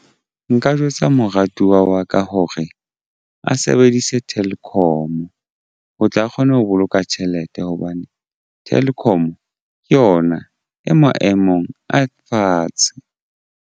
Nka jwetsa moratuwa wa ka hore a sebedise Telkom ho tla kgone ho boloka tjhelete hobane Telkom ke yona e maemong a fatshe.